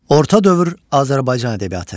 Orta dövr Azərbaycan ədəbiyyatı.